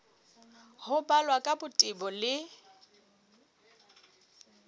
ho balwa ka botebo le